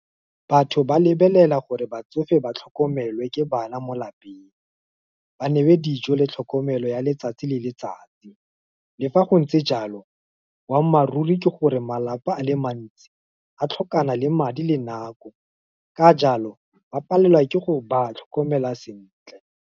Batho ba lebelela gore ba tsofe ba tlhokomelwe ke bana mo lapeng, ba newe dijo le tlhokomelo ya letsatsi le letsatsi. Le fa go ntse jalo, boammaaruri ke gore, malapa a le mantsi, a tlhokana le madi le nako, ka jalo, ba palelwa ke go ba tlhokomela sentle.